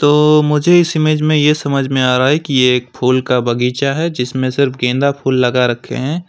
तो मुझे इस इमेज में यह समझ में आ रहा है कि यह फूल का बगीचा है जिसमें सिर्फ गेंदा फूल लगा रखे हैं।